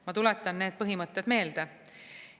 Ma tuletan need põhimõtted meelde.